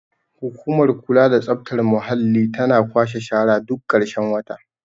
hukumar kula da tsaftar muhalli tana kwashe shara duk karshen wata